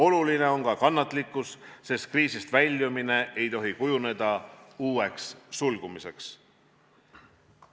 Oluline on ka kannatlikkus, sest kriisist väljumine ei tohi kujuneda uueks sulgumiseks.